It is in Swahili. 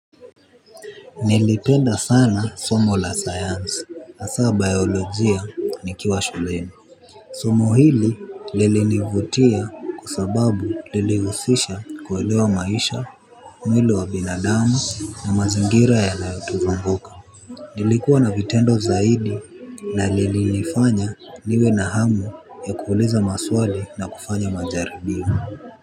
Nilipenda sana somo la sayansi, hasa biolojia nikiwa shuleni. Somo hili lilinivutia kwa sababu lilihusisha kuelewa maisha, mwili wa binadamu na mazingira yanayotuzunguka. Lilikuwa na vitendo zaidi na lilinifanya niwe na hamu ya kuuliza maswali na kufanya majaribio.